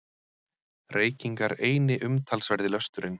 Reykingar eini umtalsverði lösturinn.